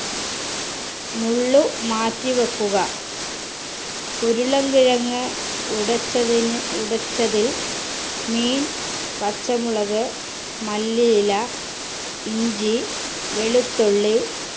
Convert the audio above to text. മുള്ള് മാറ്റിവെക്കുക ഉരുളങ്കിഴങ് ഉടച്ചതിന് ഉടച്ചതിൽ മീൻ പച്ചമുളക് മല്ലിയില ഇഞ്ചി വെളുത്തുള്ളി